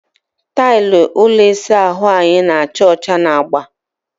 Tailụ ụlọ ịsa ahụ anyị na-acha ọcha na agba.